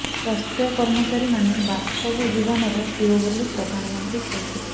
ସ୍ବାସ୍ଥ୍ୟ କର୍ମଚାରୀମାନେ ବାସ୍ତବ ଜୀବନର ହିରୋ ବୋଲି ପ୍ରଧାନମନ୍ତ୍ରୀ କହିଥିଲେ